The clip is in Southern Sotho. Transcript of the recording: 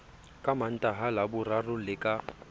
ka mantaha laboraro le ka